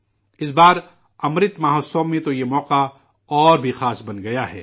اس بار 'امرت مہوتسو' میں تو یہ موقع اور بھی خاص بن گیا ہے